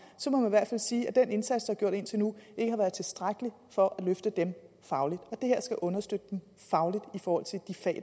så må man i hvert fald sige at den indsats der er gjort indtil nu ikke har været tilstrækkelig for at løfte dem fagligt det her skal understøtte dem fagligt i forhold til de fag